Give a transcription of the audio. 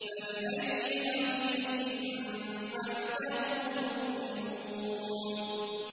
فَبِأَيِّ حَدِيثٍ بَعْدَهُ يُؤْمِنُونَ